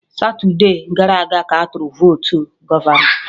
Satude gara aga ka atụrụ votu gọvọnọ